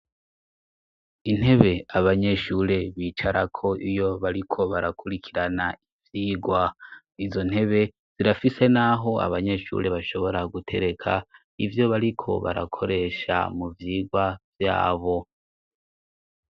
Intebe abanyeshure bicarako iyo bariko barakurikirana ivyirwa izo ntebe zirafise, naho abanyeshure bashobora gutereka ivyo bariko barakoresha mu vyirwa vyabo.